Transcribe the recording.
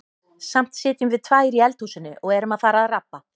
Samt sitjum við tvær í eldhúsinu og erum að fara að rabba.